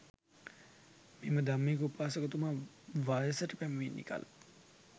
මෙම ධම්මික උපාසකතුමා වයසට පැමිණි කල